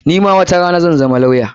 Ni ma watarana zan zama lawya.